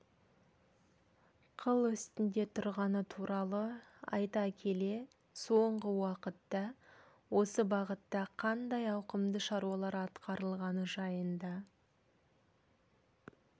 қыл үстінде тұрғаны туралы айта келе соңғы уақытта осы бағытта қандай ауқымды шаруалар атқарылғаны жайында